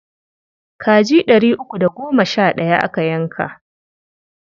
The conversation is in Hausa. Kaji ɗari uku da goma sha ɗaya aka yanka.